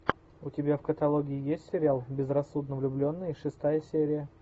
у тебя в каталоге есть сериал безрассудно влюбленные шестая серия